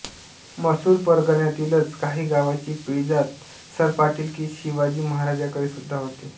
मसूर परगण्यातीलच काही गावाची पिढीजात सरपाटीलकी शिवाजी महाराजांकडे सुद्धा होती